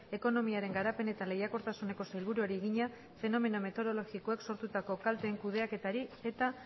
ekonomiaren garapen eta lehiakortasuneko sailburuari egina fenomeno meteorologikoek sortutako kalte kudeaketari eta